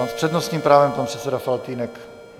A s přednostním právem pan předseda Faltýnek.